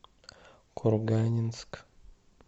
курганинск